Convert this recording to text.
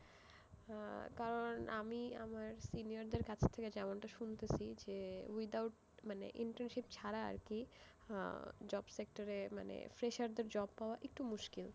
আহ কারণ আমি আমার senior দের কাছ থেকে যেমন এটা শুনতেছি যে without, মানে internship ছাড়া আরকি আহ job sector এ, মানে fresher দের job পাওয়া একটু মুশকিল।